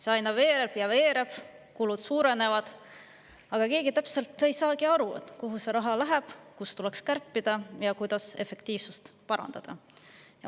See aina veereb ja veereb, kulud suurenevad, aga keegi ei saagi täpselt aru, kuhu see raha läheb, kust tuleks kärpida ja kuidas efektiivsust parandada.